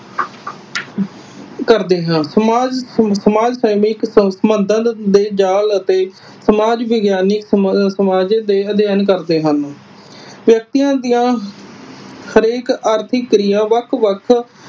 ਕਰਦੇ ਹਨ। ਸਮਾਜ ਸਮਾਜ ਸੈਨਿਕ ਦੇ ਜਾਲ ਅਤੇ ਸਮਾਜ ਵਿਗਿਆਨੀ ਦੇ ਅਧਿਐਨ ਕਰਦੇ ਹਨ। ਵਿਅਕਤੀਆਂ ਦੀਆਂ ਹਰੇਕ ਆਰਥਿਕ ਕ੍ਰਿਆ ਵੱਖ ਵੱਖ